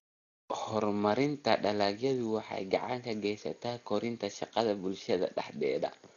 Horumarinta dalagyadu waxay gacan ka geysataa kordhinta shaqada bulshada dhexdeeda.